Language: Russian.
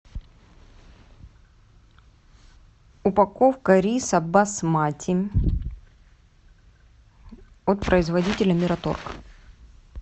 упаковка риса басмати от производителя мираторг